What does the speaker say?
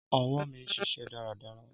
Ọwọ mi n ṣiṣẹ daradara.